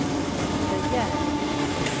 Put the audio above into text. rejält